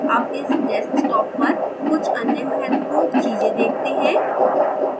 अब इस desktop पर कुछ अन्य महत्वपूर्ण चीजें देखते हैं